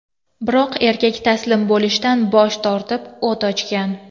Biroq erkak taslim bo‘lishdan bosh tortib, o‘t ochgan.